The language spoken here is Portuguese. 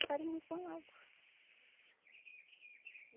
farinha com a água.